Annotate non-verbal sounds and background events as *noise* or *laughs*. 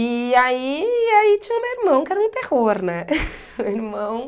E aí e aí tinha o meu irmão, que era um terror, né? *laughs* Meu irmão